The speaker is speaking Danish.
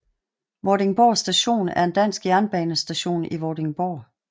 Vordingborg Station er en dansk jernbanestation i Vordingborg